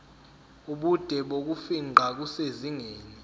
ubude bokufingqa kusezingeni